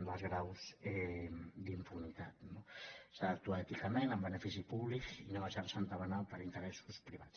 dels graus d’impunitat no s’ha d’actuar èticament en benefici públic i no deixarse entabanar per interessos privats